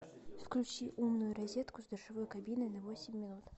включи умную розетку с душевой кабиной на восемь минут